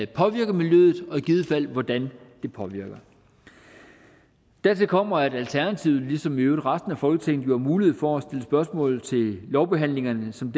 påvirker miljøet og i givet fald hvordan det påvirker dertil kommer at alternativet ligesom i øvrigt resten af folketinget jo har mulighed for at stille spørgsmål til lovbehandlingerne som